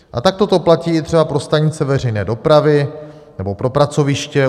A takto to platí i třeba pro stanice veřejné dopravy nebo pro pracoviště.